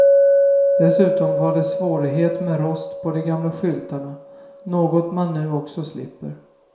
Dessutom var det svårighet med rost på de gamla skyltarna, något man nu också slipper.